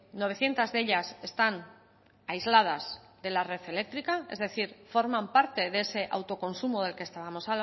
novecientos de ellas están aisladas en la red eléctrica es decir forman parte de ese autoconsumo del que estábamos